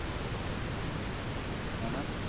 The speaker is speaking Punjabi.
ਹੈਨਾ।